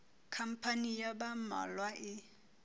khampani ya ba mmalwa e